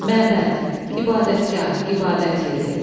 Məbəd – ibadətgah, ibadət yeri.